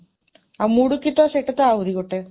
ଆଉ ମୁଡ଼ୁକି ତ ସେଟା ତ ଆହୁରି ଗୋଟେ,